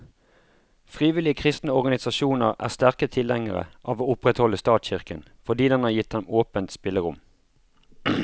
Frivillige kristne organisasjoner er sterke tilhengere av å opprettholde statskirken, fordi den har gitt dem åpent spillerom.